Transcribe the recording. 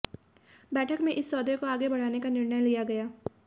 बैठक में इस सौदे को आगे बढ़ाने का निर्णय लिया गया